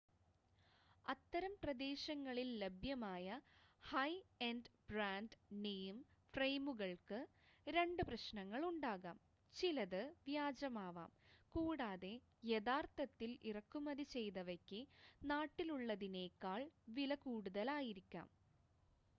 അത്തരം പ്രദേശങ്ങളിൽ ലഭ്യമായ ഹൈ-എൻഡ് ബ്രാൻഡ്-നെയിം ഫ്രയിമുകൾക്ക് രണ്ട് പ്രശ്നങ്ങൾ ഉണ്ടാകാം ചിലത് വ്യാജമാവാം കൂടാതെ യഥാർത്ഥത്തിൽ ഇറക്കുമതി ചെയ്തവയ്ക്ക് നാട്ടിലുള്ളതിനേക്കാൾ വില കൂടുതലായിരിക്കാം